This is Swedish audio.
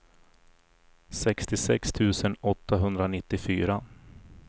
sextiosex tusen åttahundranittiofyra